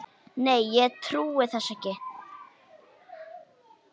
Nei, ég trúi þessu ekki.